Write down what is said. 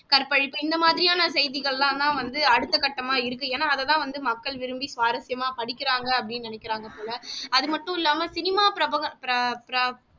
கற்பழிப்பு இந்த மாதிரியான செய்திகள் எல்லாம் தான் அடுத்தகட்டமா இருக்கு ஏன்னா அதை தான் வந்து மக்கள் விரும்பி சுவாரசியமா படிக்கிறாங்க அப்படினு நினைக்கிறாங்க போல அது மட்டுமில்லாம cinema